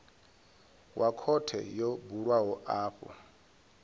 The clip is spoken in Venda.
wa khothe yo bulwaho afho